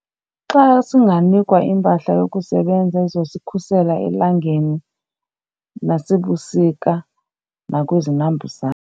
Xa singanikwa iimpahla yokusebenza ezozikhusela elangeni nasebusika nakwizinambuzane.